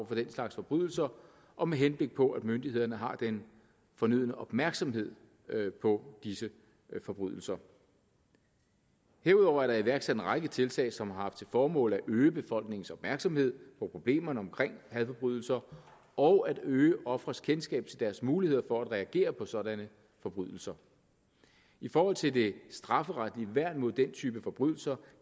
for den slags forbrydelser og med henblik på at myndighederne har den fornødne opmærksomhed på disse forbrydelser herudover er der iværksat en række tiltag som har haft til formål at øge befolkningens opmærksomhed på problemerne omkring hadforbrydelser og at øge ofres kendskab til deres muligheder for at reagere på sådanne forbrydelser i forhold til det strafferetlige værn mod den type forbrydelser